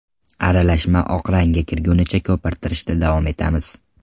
Aralashma oq rangga kirgunicha ko‘pirtirishda davom etamiz.